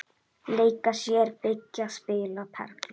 Leika sér- byggja- spila- perla